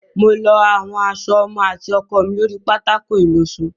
Mo lọ àwọn aṣọ ọmọ àti ọkọ mi lórí pátákó ìlọṣọ.